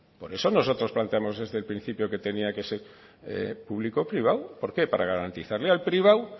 por eso nosotros planteamos desde el principio que tenía que ser público privado por qué para garantizarle al privado